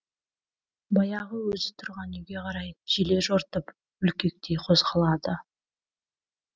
баяғы өзі тұрған үйге қарай желе жортып бүлкектей қозғалады